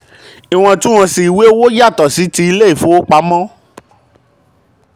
iwọntúnwọnsì ìwé owó ìwé owó yàtọ̀ sí ti ilé ìfowopamọ́.